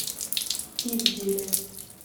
ивделе